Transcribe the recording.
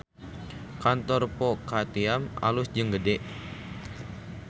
Kantor Po Ka Tiam alus jeung gede